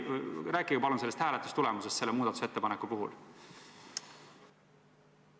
Rääkige palun hääletustulemusest selle muudatusettepaneku puhul!